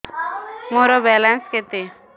ମୋର ବାଲାନ୍ସ କେତେ